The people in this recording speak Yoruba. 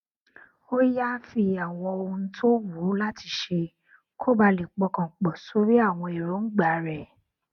ó yááfì àwọn ohun tó wù ú láti ṣe kó bàa lè pọkàn pò sórí àwọn èròǹgbà rè